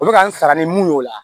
Olu ka n saga ni mun y'o la